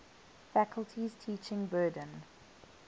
faculty's teaching burden